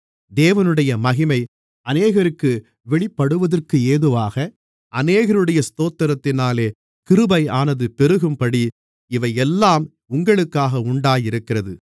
தேவனுடைய மகிமை அநேகருக்கு வெளிப்படுவதற்கேதுவாக அநேகருடைய ஸ்தோத்திரத்தினாலே கிருபையானது பெருகும்படி இவைகளெல்லாம் உங்களுக்காக உண்டாகியிருக்கிறது